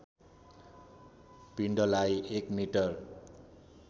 पिण्डलाई एक मिटर